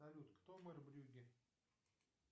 салют кто мэр брюгге